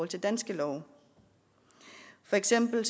til danske love for eksempel